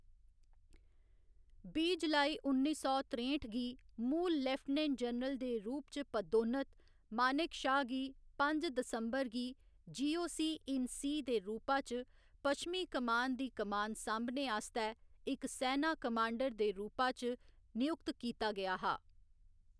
बीह्‌ जुलाई उन्नी सौ त्रेंठ गी मूल लेफ्टिनेंट जनरल दे रूप च पदोन्नत, मानेकशा गी पंज दिसंबर गी G. O. C in C दे रूपा च पश्चिमी कमान दी कमान सांभने आस्तै इक सैना कमांडर दे रूपा च नयुक्त कीता गेआ हा।